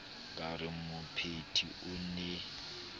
ka re mopheti o ne